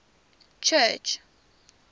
church